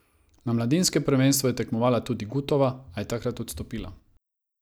Na mladinskem prvenstvu je tekmovala tudi Gutova, a je takrat odstopila.